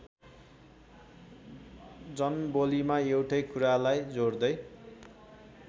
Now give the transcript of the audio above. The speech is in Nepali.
जनबोलीमा एउटै कुरालाई जोड्दै